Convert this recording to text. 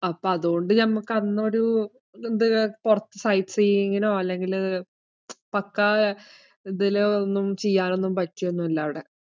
അപ്പൊ അതോണ്ട് ഞമ്മക്ക് അന്നൊരു ഇതുണ്ട്~ കൊറച്ചു sightseeing നോ അല്ലെങ്കില് പക്കാ ഇതില് ഒന്നും ചെയ്യാൻ ഒന്നും പറ്റിയൊന്നുല്ല അവിടെ.